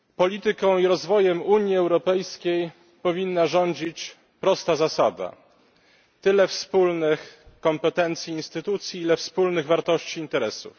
Polityką i rozwojem Unii Europejskiej powinna rządzić prosta zasada tyle wspólnych kompetencji instytucji, ile wspólnych wartości interesów.